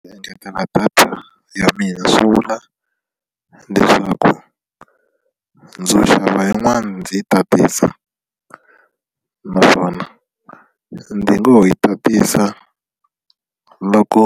Ku engetela data ya mina swi vula leswaku ndzo xava yin'wani ndzi yi tatisa naswona ndzi ngo ho yi tatisa loko